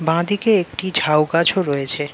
বাঁদিকে একটি ঝাউ গাছও রয়েছে।